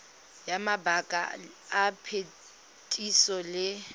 ya mabaka a phetiso le